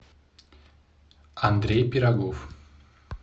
андрей пирогов